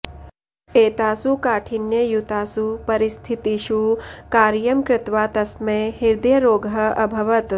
एतासु काठिन्ययुतासु परिस्थितिषु कार्यं कृत्वा तस्मै हृदयरोगः अभवत्